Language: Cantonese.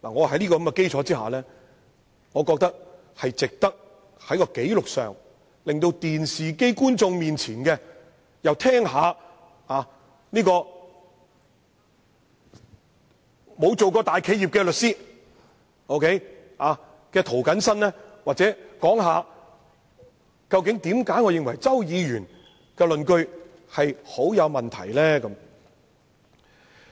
在這個基礎之上，我認為也值得在紀錄上，讓電視機前的觀眾聽一聽沒有當過大企業法律顧問的涂謹申議員，談談他為何認為周議員的論據相當有問題。